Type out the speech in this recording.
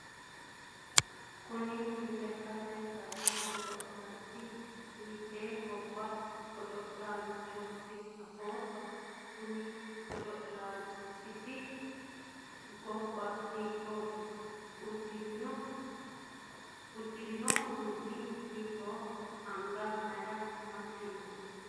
kuni lekkate kaase godo'laanchi hiitte gaamo widoonni godo'lannohoro afootto? konni godo'laanchiti gobba hiikkooti? uddire noo uduunnino hiittooho? anga mayiira amaxxe no?